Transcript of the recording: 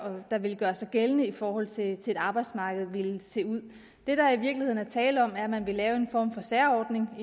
der ville gøre sig gældende i forhold til til arbejdsmarkedet ville se ud det der i virkeligheden er tale om er at man vil lave en form for særordning